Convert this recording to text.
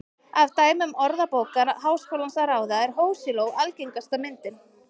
Af dæmum Orðabókar Háskólans að ráða er hosiló algengasta myndin.